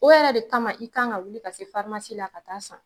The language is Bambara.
O yɛrɛ de kama i kan ka wuli ka se farimasi la ka t'a san